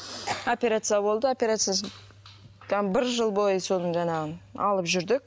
операция болды операциясы жаңа бір жыл бойы соны жаңағы алып жүрдік